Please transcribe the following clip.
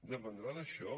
dependrà d’això